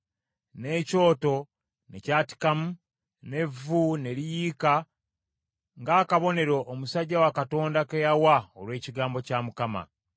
N’ekyoto ne kyatikamu, n’evvu ne liyiika ng’akabonero omusajja wa Katonda ke yawa olw’ekigambo kya Mukama .